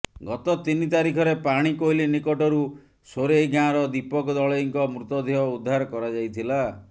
ଗତ ତିନି ତାରିଖରେ ପାଣିକୋଇଲି ନିକଟରୁ ସୋରେଇ ଗାଁର ଦୀପକ ଦଳେଇଙ୍କ ମୃତ ଦେହ ଉଦ୍ଧାର କରାଯାଇଥିଲା